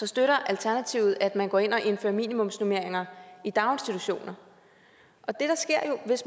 støtter alternativet at man går ind og indfører minimumsnormeringer i daginstitutioner